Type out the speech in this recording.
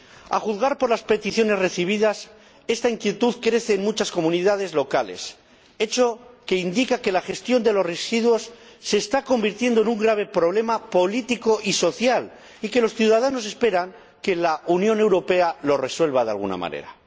A juzgar por las peticiones recibidas, esta inquietud crece en muchas comunidades locales, hecho que indica que la gestión de los residuos se está convirtiendo en un grave problema político y social y que los ciudadanos esperan que la Unión Europea lo resuelva de alguna manera.